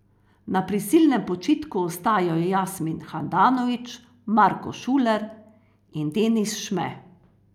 Na prisilnem počitku ostajajo Jasmin Handanović, Marko Šuler in Denis Šme.